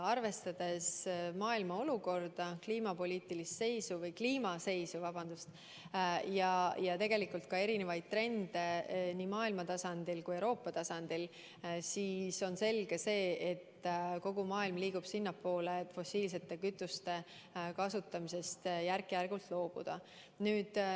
Arvestades maailma olukorda, kliimaseisu ja ka erinevaid trende nii maailma tasandil kui ka Euroopa tasandil, on selge, et kogu maailm liigub sinnapoole, et fossiilsete kütuste kasutamisest järk‑järgult loobuda.